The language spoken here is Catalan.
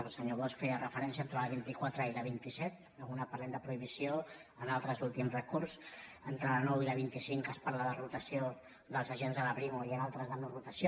el senyor bosch hi feia referència entre la vint quatre i la vint set en una parlem de prohibició en l’altra és l’últim recurs entre la nou i la vint cinc en què es parla de rotació dels agents de la brimo i en l’altra de norotació